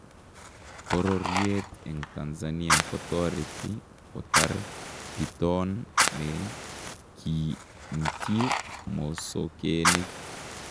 Bororyeet en Tanzania kotoretii kotaar bitoon neki ntiiy mosokeenik